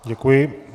Děkuji.